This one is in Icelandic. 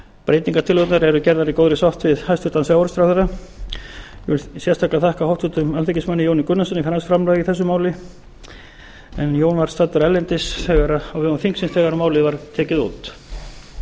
breytingartillögurnar eru gerðar í góðri sátt við hæstvirtan sjávarútvegsráðherra ég vil sérstaklega þakka háttvirtan alþingismanni jóni gunnarssyni fyrir hans framlag í þessu máli en jón var staddur erlendis á vegum þingsins þegar málið var tekið út